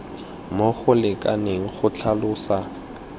mo go lekaneng go tlhalosa